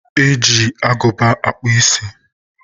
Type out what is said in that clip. E ji agụba akpụ isi.